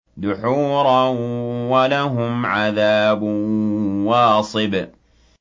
دُحُورًا ۖ وَلَهُمْ عَذَابٌ وَاصِبٌ